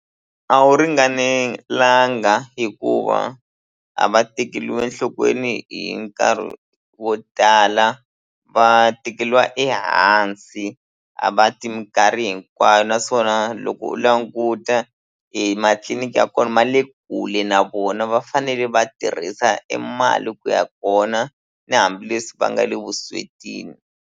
A wu ringanelanga hikuva a va tekeliwi enhlokweni hi nkarhi wo tala va tekeliwa ehansi a va ti mikarhi hinkwayo naswona loko u languta ematliliniki ya kona ma le kule na vona va fanele va tirhisa e mali ku ya kona na hambileswi va nga le vuswetini.